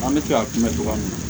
An bɛ se ka mɛn cogoya min na